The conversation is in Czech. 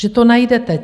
Že to najdete.